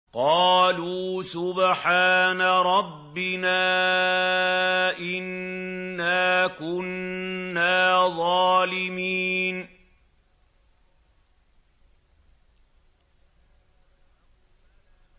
قَالُوا سُبْحَانَ رَبِّنَا إِنَّا كُنَّا ظَالِمِينَ